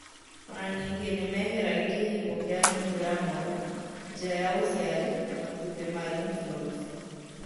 O na ningĩ nĩ meheragia kĩhingo kĩa nyũngũ ya mwana, njĩra ya ũciari, matũmbĩ na lymph nodes.